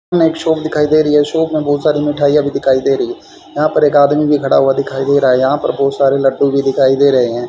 हमें एक शाप दिखाई दे रही है शाप में बहुत सारी मिठाई अभी दिखाई दे रही है यहां पर एक आदमी भी खड़ा हुआ दिखाई दे रहा है यहां पर बहुत सारे लड्डू भी दिखाई दे रहे हैं।